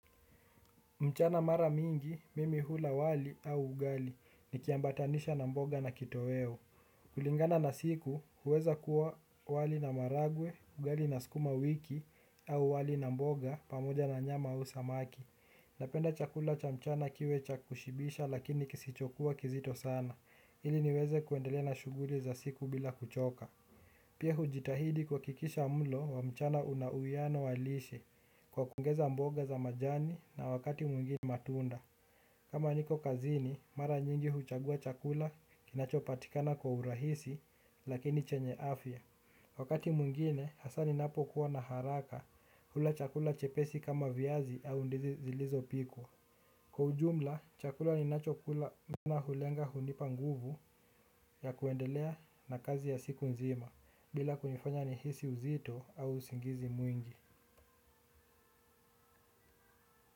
Mchana mara mingi, mimi hula wali au ugali, nikiambatanisha na mboga na kitoweo. Kulingana na siku, huweza kuwa wali na maharagwe, ugali na sukuma wiki, au wali na mboga, pamoja na nyama ausamaki. Napenda chakula cha mchana kiwe cha kushibisha lakini kisichokuwa kizito sana. Ili niweze kuendelea na shughuli za siku bila kuchoka. Pia hujitahidi kuhakikisha mlo wa mchana una uwiano halisi kwa kuongeza mboga za majani na wakati mwingine matunda. Kama niko kazini, mara nyingi huchagua chakula kinacho patikana kwa urahisi lakini chenye afya. Wakati mwingine, hasa ninapokuwa na haraka hula chakula chepesi kama viazi au ndizi zilizopikuwa. Kwa ujumla chakula ninachokula na hulenga hunipa nguvu ya kuendelea na kazi ya siku nzima bila kunifanya nihisi uzito au usingizi mwingi.